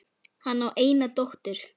Hann á eina dóttur.